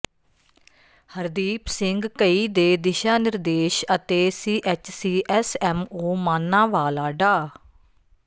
ਹਰਦੀਪ ਸਿੰਘ ਘਈ ਦੇ ਦਿਸ਼ਾ ਨਿਰਦੇਸ਼ ਅਤੇ ਸੀਐੱਚਸੀ ਐੱਸਐੱਮਓ ਮਾਨਾਂਵਾਲਾ ਡਾ